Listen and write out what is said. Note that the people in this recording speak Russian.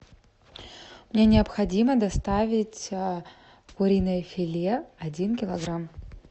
мне необходимо доставить куриное филе один килограмм